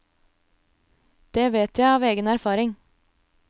Det vet jeg av egen erfaring.